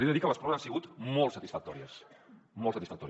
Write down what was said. li he de dir que les proves han sigut molt satisfactòries molt satisfactòries